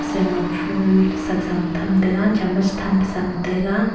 soima phool saksao tham taga chamas tham pa salo taI a .